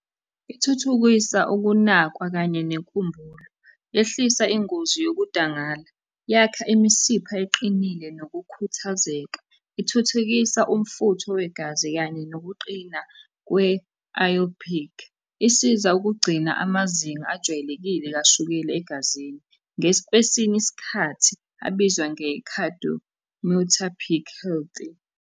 Ithuthukisa ukunakwa kanye nenkumbulo, yehlisa ingozi yokudangala, yakha imisipha eqinile nokukhuthazeka, ithuthukisa umfutho wegazi kanye nokuqina kwe-iopic. Isiza ukugcina amazinga ajwayelekile kashukela egazini, kwesinye isikhathi abizwa .